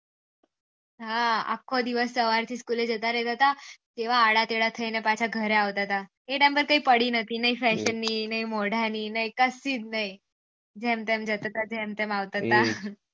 હા આખો દિવસ સવાર થી સ્ચોલો જતા રેહતા હતા તવા આડા કેળા થાય ને પાછા ઘરે આવતા હતા એ ટાઇમ પર કઈ પડી નથી નહિ થાય તો નહી નહિ થાય તો નહી મોડા ની કશું નહી જેમ તેમ જતા થા જેમ તેમ આવતા હતા